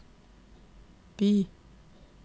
by